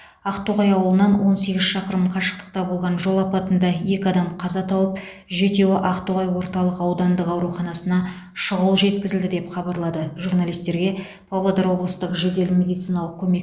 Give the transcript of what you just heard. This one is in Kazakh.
ақтоғай ауылынан он сегіз шақырым қашықтықта болған жол апатында екі адам қаза тауып жетеуі ақтоғай орталық аудандық ауруханасына шұғыл жеткізілді деп хабарлады журналистерге павлодар облыстық жедел медициналық көмек